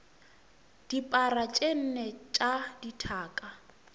dipara tše nne tša dithaka